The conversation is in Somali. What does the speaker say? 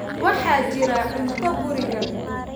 Waxaa jira cunto guriga.